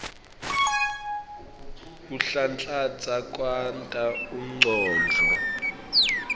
kuhlanhlatsa kwenta umcondvo